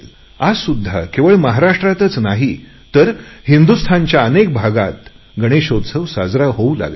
आजसुध्दा केवळ महाराष्ट्रातच नाही तर हिंदुस्थानच्या कानाकोपऱ्यात गणेशोत्सव होऊ लागलाय